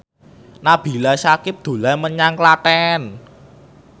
Nabila Syakieb dolan menyang Klaten